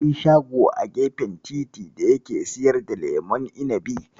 Akwai shago a gefen titi da yake siyar da lemon inibi.